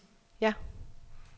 ja